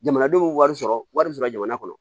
Jamanadenw bɛ wari sɔrɔ wari sɔrɔ jamana kɔnɔ